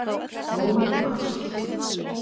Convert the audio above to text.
Ó, ást!